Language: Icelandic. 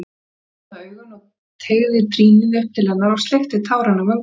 Hann hafði opnað augun og teygði trýnið upp til hennar og sleikti tárin af vöngunum.